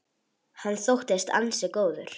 Hann þóttist ansi góður.